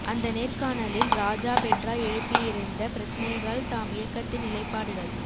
அந்த நேர்காணலில் ராஜா பெட்ரா எழுப்பியிருந்த பிரச்னைகள் தாம் இயக்கத்தின் நிலைப்பாடுகள்